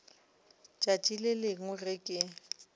tšatši le lengwe ge ke